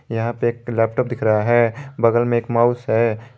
यहां पे एक लैपटॉप दिख रहा है बगल में एक माउस है।